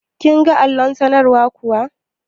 Kin ga allon sanarwar kuwa?